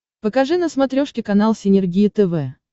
покажи на смотрешке канал синергия тв